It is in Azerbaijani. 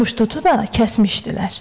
Muştutu da kəsmişdilər.